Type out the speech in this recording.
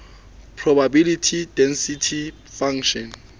probability density function